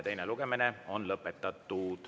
Teine lugemine on lõpetatud.